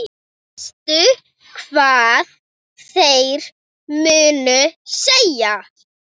Veistu hvað þeir munu segja?